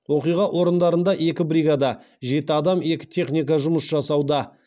оқиға орындарында екі бригада жұмыс жасауда